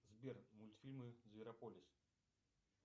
сбер мультфильмы зверополис